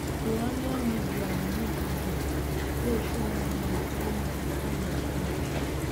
iranian media release video wey show one man wey man wey dem blur